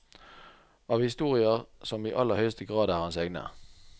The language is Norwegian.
Av historier som i aller høyeste grad er hans egne.